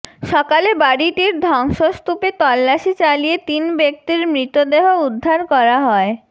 সকালে বাড়িটির ধ্বংসস্তূপে তল্লাশি চালিয়ে তিন ব্যক্তির মৃতদেহ উদ্ধার করা হয়